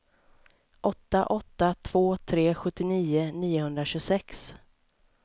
åtta åtta två tre sjuttionio niohundratjugosex